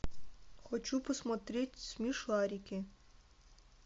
хочу посмотреть смешарики